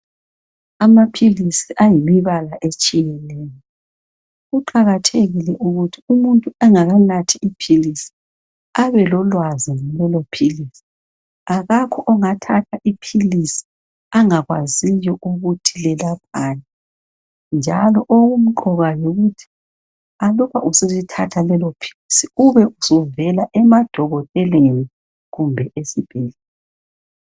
Amapills ayimibala etshiyeneyo kuqakathekile ukuthi umuntu engakanathi ipills abelolwazi ngalelopills akakho ongathatha ipills angakwaziyo ukuthi lelaphani njalo okumqoka yikuthi aluba usulithatha lelopills ube suvela emadokoteleni kumbe esibhedlela